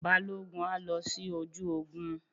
Balógun á lọ sí ojú ogun.